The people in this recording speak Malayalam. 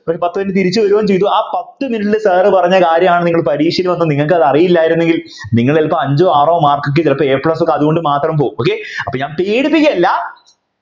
ഒരു പത്തു minute തിരിച്ചു വരികയും ചെയ്തു ആ പത്തു minute ലു sir പറഞ്ഞ കാര്യണ് നിങ്ങൾ പരീക്ഷക്കുവന്ന് നിങ്ങൾക്ക് അറിയില്ലായിരുന്നെങ്കിൽ നിങ്ങൾ ചിലപ്പോൾ അഞ്ചോ ആറോ mark ഒക്കെ A plus ഒക്കെ അതുകൊണ്ട് മാത്രം പോകും okay അപ്പോൾ ഞാൻ പേടിപ്പിക്കല്ല